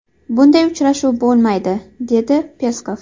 Bunday uchrashuv bo‘lmaydi”, dedi Peskov.